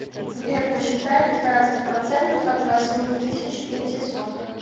сбер посчитай пятнадцать процентов от восьми тысяч пятисот